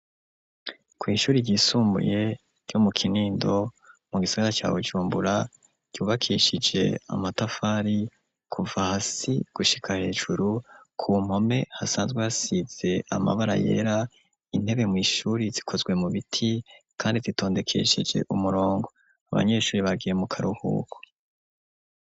Kw’ishuri ryisumbuye, ryo mu Kinindo, mu gisagara ca Bujumbura, ryubakishije amatafari, kuva hasi, gushika hejuru; ku mpome, hasanzwe hasize, amabara yera; intebe mw’ishuri, zikozwe mu biti, kandi zitondekesheje umurongo, abanyeshuri, bagiye mu karuhuko.